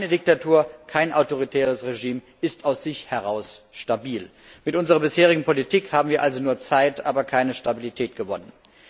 Keine Diktatur, kein autoritäres Regime ist aus sich heraus stabil. Mit unserer bisherigen Politik haben wir also nur Zeit, aber keine Stabilität gewonnen.